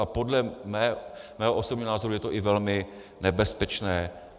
A podle mého osobního názoru je to i velmi nebezpečné.